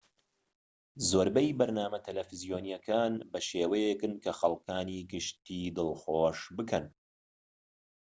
زۆربەی بەرنامە تەلەڤیزۆنیەکان بە شێوەیەکن کە خەڵکانی گشتیی دڵخۆش بکەن